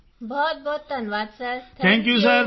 ਸਾਰੇ NCC cadets ਬਹੁਤਬਹੁਤ ਧੰਨਵਾਦ ਸਰ ਥੈਂਕ ਯੂ